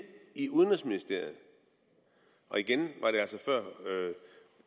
i udenrigsministeriet og igen